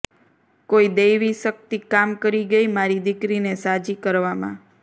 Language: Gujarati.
કોઈ દૈવી શકિત કામ કરી ગઈ મારી દિકરીને સાજી કરવામાં